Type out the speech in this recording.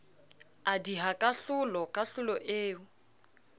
a diha kahlolo kahlolo eo